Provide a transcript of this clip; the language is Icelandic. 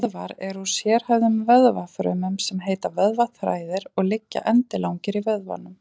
Vöðvar eru úr sérhæfðum vöðvafrumum sem heita vöðvaþræðir og liggja endilangir í vöðvanum.